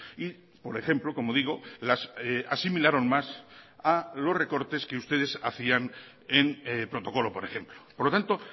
y por ejemplo como digo las asimilaron más a los recortes que ustedes hacían en protocolo por ejemplo por lo tanto